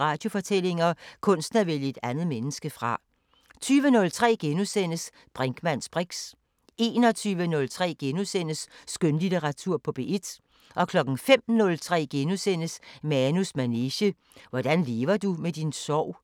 Radiofortællinger: Kunsten at vælge et andet menneske fra * 20:03: Brinkmanns briks * 21:03: Skønlitteratur på P1 * 05:03: Manus manege: Hvordan lever du med din sorg? *